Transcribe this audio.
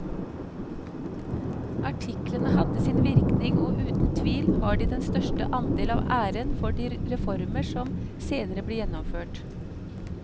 Artiklene hadde sin virkning og uten tvil har de den største andel av æren for de reformer som senere ble gjennomført.